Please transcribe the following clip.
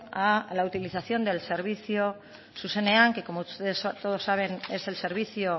a la utilización del servicio zuzenean que como ustedes todos saben es el servicio